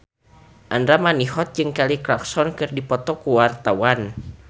Andra Manihot jeung Kelly Clarkson keur dipoto ku wartawan